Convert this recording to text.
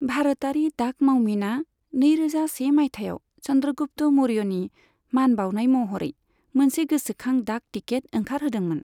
भारतारि डाक मावमिना नैरोजा से मायथाइयाव चन्द्रगुप्त मौर्यनि मान बाउनाय महरै मोनसे गोसोखां डाक टिकेट ओंखारहोदोंमोन।